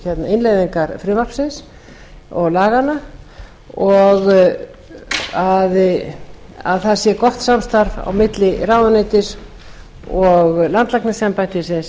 innleiðingar frumvarpsins og laganna og það sé gott samstarf á milli ráðuneytis og landlæknisembættisins